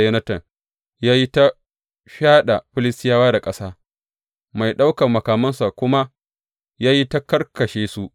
Yonatan ya yi ta fyaɗa Filistiyawa da ƙasa, mai ɗaukan makamansa kuma ya yi ta karkashe su.